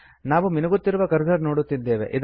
ನಾವು ಮಿನುಗುತ್ತಿರುವ ಕರ್ಸರ್ ನೋಡುತ್ತಿದ್ದೇವೆ